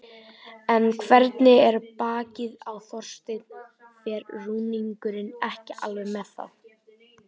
En hvernig er bakið á Þorsteini, fer rúningurinn ekki alveg með það?